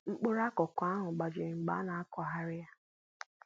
mkpụrụ akụkụ ahụ gbajiri mgbe a na akụghari ya